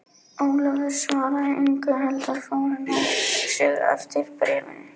Ólafur svaraði engu heldur fór inn á sig eftir bréfinu.